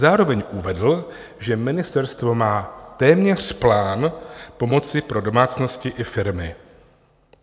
Zároveň uvedl, že ministerstvo má téměř plán pomoci pro domácnosti i firmy.